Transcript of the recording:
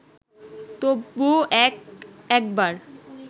তবু এক একবার